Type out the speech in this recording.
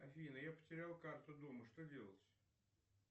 афина я потерял карту дома что делать